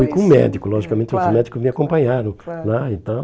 Fui com o médico, logicamente os médicos me acompanharam lá e tal.